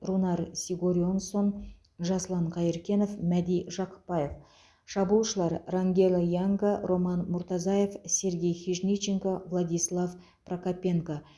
рунар сигурьонссон жасұлан қайыркенов мәди жақыпбаев шабуылшылар рангело янга роман муртазаев сергей хижниченко владислав прокопенко